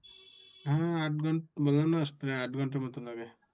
হ্যাঁ আট ঘন্টা, বললাম না প্রায় আট ঘন্টার মতো লাগে।